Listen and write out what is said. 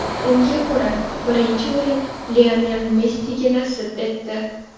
Unga ko‘ra, birinchi o‘rin Lionel Messiga nasib etdi.